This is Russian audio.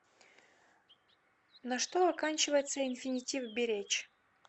на что оканчивается инфинитив беречь